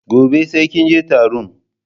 Gobe sai kinje taron